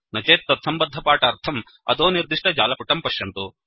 न चेत् तत्सम्बद्धपाठार्थम् अधोनिर्दिष्ट जालपुटं पश्यन्तु